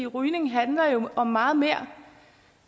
rygning handler jo om meget mere